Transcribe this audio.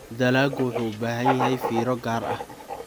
Dalaggu wuxuu u baahan yahay fiiro gaar ah.